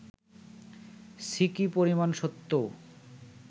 সিকি পরিমাণ সত্যও